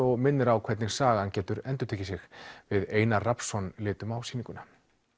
og minnir á hvernig sagan getur endurtekið sig við Einar Rafnsson litum á sýninguna